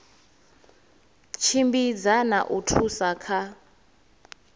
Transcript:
tshimbidza na u thusa kha